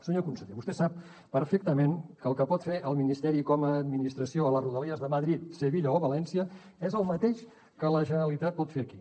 senyor conseller vostè sap perfectament que el que pot fer el ministeri com a administració a les rodalies de madrid sevilla o valència és el mateix que la generalitat pot fer aquí